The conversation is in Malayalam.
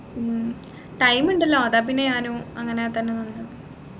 ഉം time ഉണ്ടല്ലോ അതാ പിന്നെ ഞാനും അങ്ങനെ തന്നെ പറഞ്ഞത്